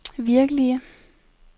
virkelige